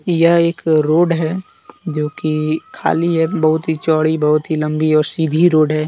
यह एक रोड है जो कि खाली है बहुत ही चौड़ी बहुत ही लंबी और सीधी रोड है।